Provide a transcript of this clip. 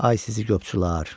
Ay sizi qopçular!